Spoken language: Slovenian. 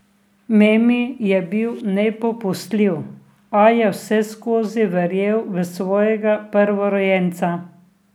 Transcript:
Memi je bil nepopustljiv, a je vseskozi verjel v svojega prvorojenca.